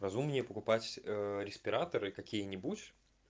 разумнее покупать респираторы какие-нибудь